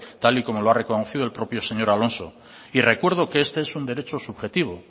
tal y como lo ha reconocido el propio señor alonso y recuerdo que este es un derecho subjetivo